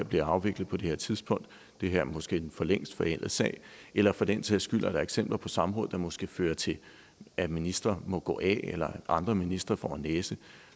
bliver afviklet på det her tidspunkt det er måske en for længst forældet sag eller for den sags skyld er eksempler på samråd der måske fører til at en minister må gå af eller at andre ministre får en næse